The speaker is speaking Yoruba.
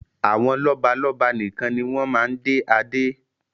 Àwọn lọ́balọ́ba nikan ni wọn máa ń dé Adé